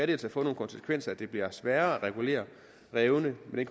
det altså få de konsekvenser at det bliver sværere at regulere rævene med